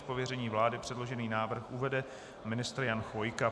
Z pověření vlády předložený návrh uvede ministr Jan Chvojka.